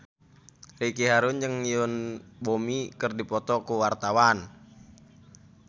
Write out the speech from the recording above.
Ricky Harun jeung Yoon Bomi keur dipoto ku wartawan